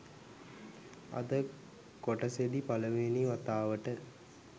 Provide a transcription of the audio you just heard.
අද කොටසෙදි පළවෙනි වතාවට